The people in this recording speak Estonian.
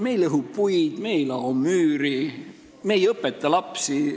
Me ei lõhu puid, me ei lao müüri, me ei õpeta lapsi.